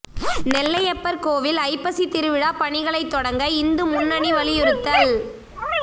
நெல்லையப்பா் கோயில் ஐப்பசி திருவிழா பணிகளைத் தொடங்க இந்து முன்னணி வலியுறுத்தல்